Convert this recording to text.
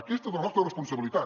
aquesta és la nostra responsabilitat